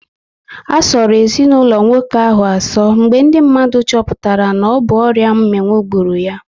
A sọrọ ezinaụlọ nwoke ahụ asọ mgbe ndị mmadụ choputara na ọ bụ ọrịa mminwu gburu ya